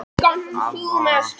Amma fór út rétt fyrir níu.